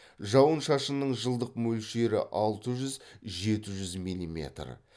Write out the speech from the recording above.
жауын шашынның жылдық мөлшері алты жүз жеті жүз милиметр